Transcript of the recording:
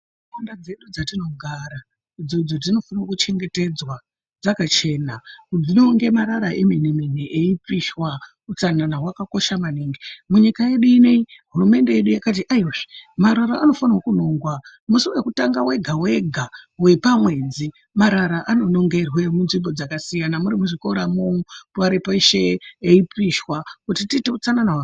Ndau dzedu dzatinogara idzodzo dzinofanirwa kuchengetedzwa dzakachena kunonga marara emene mene eyipishwa, utsanana wakakosha maningi, munyika yedu ineyi hurumende yakati aiwa zvee, marara anofane kunongwa mushi wekutanga wega wega wepamwedzi marara anonongerwe munzvimbo dzakasiyana muri muzvikora imwomo kunyari peshe eipishwa kuti tiite utsanana wakanaka.